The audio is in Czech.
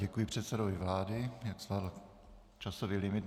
Děkuji předsedovi vlády, jak zvládl časový limit.